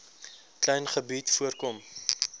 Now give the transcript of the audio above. klein gebied voorkom